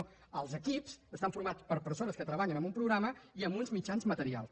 no els equips estan formats per persones que treballen amb un programa i amb uns mitjans materials